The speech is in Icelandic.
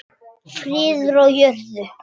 Friður á jörðu.